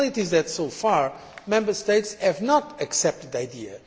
The reality is that so far, Member States have not accepted the idea